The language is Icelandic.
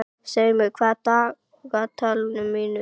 Seimur, hvað er í dagatalinu mínu í dag?